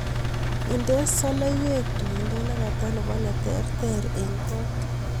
Indenee soloiwet tuindo nekata nebo netertere eng kot